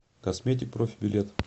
косметик профи билет